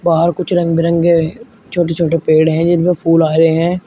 बाहर कुछ रंग बिरंगे छोटे छोटे पेड़ हैं जिनपे फूल आ रहे हैं।